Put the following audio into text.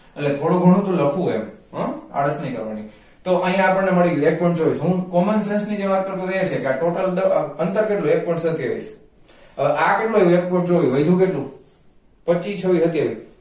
એટલે થોડું ઘણું તો લખવું એમ હમ આળસ નહી કરવાની તો અહીંયા આપણને મળી ગયું એક point ચોવીસ હું common sense ની જે વાત કર તો તો એ એછે કે આ total દઅ અંતર કેટલું એક point સત્યાવીશ હવે આ કેટલું આવ્યું? એક point ચોવીશ વધ્યું કેટલું પચ્છી, છવી, સત્યાવીસ